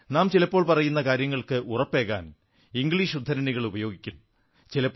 നാം ചിലപ്പോൾ പറയുന്ന കാര്യങ്ങൾക്ക് ഉറപ്പേകാൻ ഇംഗ്ലീഷ് ഉദ്ധരണികൾ ഉപയോഗിക്കും